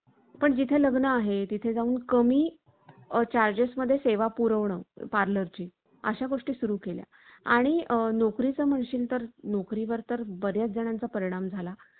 गुरुपौर्णिमा, जेष्ठ पोर्णिमा, कोजागिरी पोर्णिमा, नारळी पोर्णिमा, त्रिपुरी पोर्णिमा अशा अनेक प्रकारच्या प्रत्येक पौर्णिमेचे महत्त्व वेगळे आहे. पण विद्यार्थ्यांना मात्र